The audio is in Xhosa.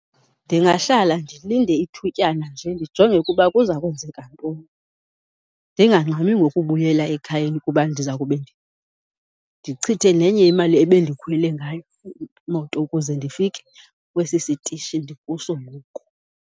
Ndingahlala ndilinde ithutyana nje ndijonge ukuba kuza kwenzeka ntoni, ndingangxami ngokubuyela ekhayeni kuba ndiza kube ndichithe nenye imali ebendikhwele ngayo imoto ukuze ndifike kwesi sitishi ndikuso ngoku.